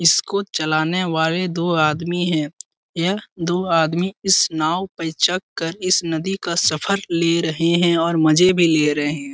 इसको चलाने वाले दो आदमी है यह दो आदमी इस नाव पे कर इस नदी का सफ़र ले रहे है और मजे भी ले रहे है ।